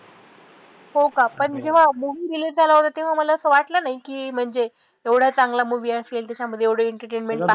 हो का पण जेव्हा movie release झाला होता तेव्हा असं वाटलं नाही की म्हणजे एवढा चांगला movie असेल त्याच्यामध्ये एवढं entertainment पाहा